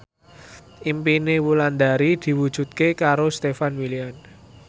impine Wulandari diwujudke karo Stefan William